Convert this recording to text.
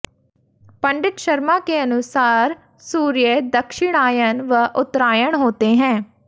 पंडित शर्मा के अनुसार सूर्य दक्षिणायन व उत्तरायण होते है